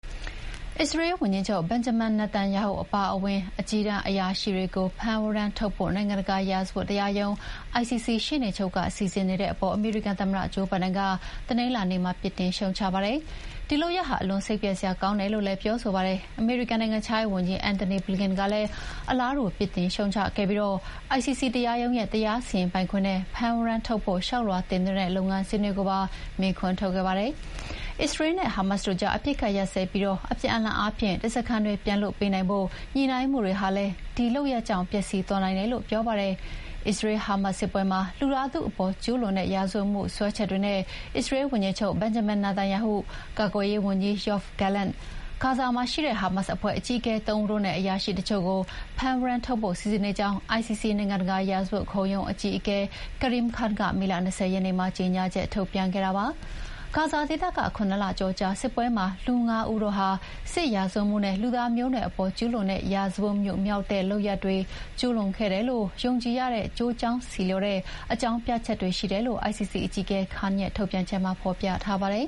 အစ္စရေးဝန်ကြီးချုပ် Benjamin Netanyahu အပါအဝင် အကြီးတန်းအရာရှိတွေကို ဖမ်းဝရမ်းထုတ်ဖို့ နိုင်ငံတကာရာဇဝတ်တရားရုံး ICC ရှေ့နေချုပ်က စီစဥ်နေတဲ့အပေါ် အမေရိကန်သမ္မတ ဂျိုးဘိုင်ဒန်က တနင်္လာနေ့မှာ ပြစ်တင်ရှုတ်ချလိုက်ပါတယ်။ ဒီလုပ်ရပ်ဟာ အလွန်စိတ်ပျက်စရာကောင်းတယ်လို့လည်း ပြောပါတယ်။ အမေရိကန်နိုင်ငံခြားရေးဝန်ကြီး Antony Blinken ကလည်း အလားတူ ပြစ်တင်ရှုတ်ချပြီး ICC တရားရုံးရဲ့ တရားစီရင်ပိုင်ခွင့်နဲ့ ဖမ်းဝရမ်းထုတ်ဖို့ လျှောက်လွှာတင်သွင်းတဲ့လုပ်ငန်းစဥ်ကိုပါ မေးခွန်းထုတ်ခဲ့ပါတယ်။ အစ္စရေးလ်နဲ့ ဟာမတ်စ်တို့ကြား အပစ်အခတ်ရပ်စဲပြီး အပြန်အလှန်အားဖြင့် ဓားစာခံတွေပြန်လွှတ်ပေးနိုင်ဖို့ ညှိနှိုင်းမှုတွေဟာလည်း ဒီလုပ်ရပ်ကြောင့် ပျက်စီးသွားနိုင်တယ်လို့ပြောပါတယ်။ အစ္စရေး-ဟာမတ်စ် စစ်ပွဲမှာ လူသားထုအပေါ်ကျူးလွန်တဲ့ရာဇဝတ်မှုစွဲချက်တွေနဲ့ အစ္စရေးဝန်ကြီးချုပ် Benjamin Netanyahu၊ ကာကွယ်ရေးဝန်ကြီး Yoav Gallant၊ ဂါဇာမှာရှိတဲ့ ဟာမတ်စ်အဖွဲ့အကြီးအကဲ ၃ ဦးနဲ့ အရာရှိတချို့ကို ဖမ်းဝရမ်းထုတ်ဖို့ စီစဉ်နေကြောင်း ICC နိုင်ငံတကာ ရာဇဝတ်ခုံရုံးအကြီးအကဲ Karim Khan က မေလ ၂၀ ရက်နေ့မှာကြေညာချက် ထုတ်ပြန်ခဲ့တာပါ။ ဂါဇာဒေသက ခုနစ်လကျော်ကြာစစ်ပွဲမှာ လူ၅ ဦးတို့ဟာ စစ်ရာဇဝတ်မှုနဲ့ လူသားမျိုးနွယ်အပေါ် ကျူးလွန်တဲ့ ရာဇဝတ်မှုမြောက်တဲ့ လုပ်ရပ်တွေကျူးလွန်ခဲ့တယ်လို့ ယုံကြည်ရတဲ့ ကျိုးကြောင်းဆီလျော်သော အကြောင်းပြချက်ရှိတယ်လို့ ICC အကြီးအကဲ Khan ရဲ့ထုတ်ပြန်ချက်မှာ ဖော်ပြထားပါတယ်